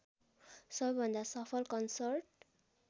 सबैभन्दा सफल कन्सर्ट